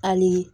Hali